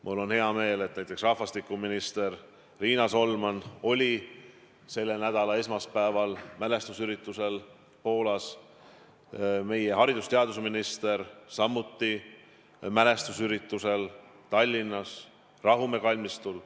Mul on hea meel, et näiteks rahvastikuminister Riina Solman oli selle nädala esmaspäeval mälestusüritusel Poolas, meie haridus- ja teadusminister aga osales mälestusüritusel Tallinnas Rahumäe kalmistul.